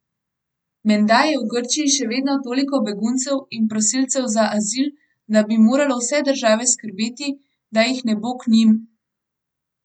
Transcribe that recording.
Menda je v Grčiji še vedno toliko beguncev in prosilcev za azil, da bi moralo vse države skrbeti, da jih ne bo k njim.